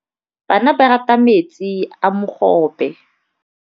Bana ba rata metsi a mogobe.